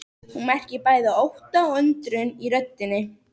Hún merkir bæði ótta og undrun í röddinni.